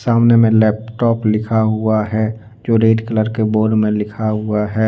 सामने में लैपटॉप लिखा हुआ है जो रेड कलर के बोर्ड में लिखा हुआ है।